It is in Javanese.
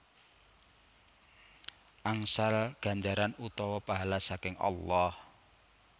Angsal ganjaran utawa pahala saking Allah